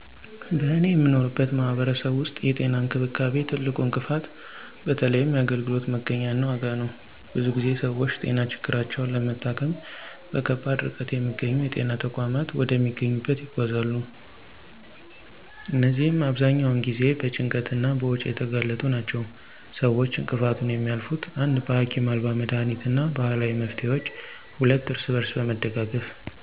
በእኔ የምኖርበት ማህበረሰብ ውስጥ የጤና እንክብካቤ ትልቁ እንቅፋት በተለይም የአገልግሎት መገኛ እና ዋጋ ነው። ብዙ ጊዜ ሰዎች ጤና ችግራቸውን ለመታከም በከባድ ርቀት የሚገኙ የጤና ተቋማት ወደሚያገኙበት ይጓዛሉ እነዚህም አብዛኛውን ጊዜ በጭንቀት እና በወጪ የተጋለጡ ናቸው። ሰዎች እንቅፋቱን የሚያልፉት: 1. በሀኪም አልባ መድኃኒት እና ባህላዊ መፍትሄዎች 2. እርስ በርስ በመደጋገፍ